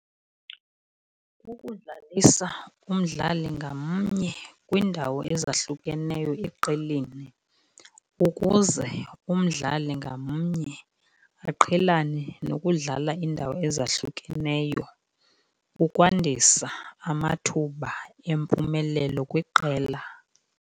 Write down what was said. Kukudlalisa umdlali ngamnye kwiindawo ezahlukeneyo eqeleni ukuze umdlali ngamnye aqhelane nokudlala iindawo ezahlukeneyo, ukwandisa amathuba empumelelo kwiqela.